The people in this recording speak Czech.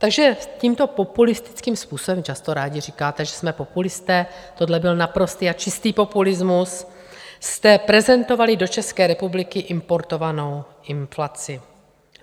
Takže tímto populistickým způsobem - často rádi říkáte, že jsme populisté, tohle byl naprostý a čistý populismus - jste prezentovali do České republiky importovanou inflaci.